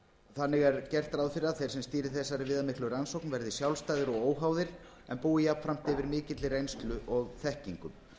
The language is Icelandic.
þannig er gert ráð fyrir að þeir sem stýri þessari viðamiklu rannsókn verði sjálfstæðir og óháðir og búi yfir jafnframt mikilli reynslu og þekkingu